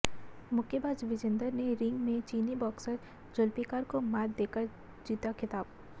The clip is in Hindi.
मुक्केबाज विजेंदर ने रिंग में चीनी बॉक्सर जुल्पिकार को मात देकर जीता खिताब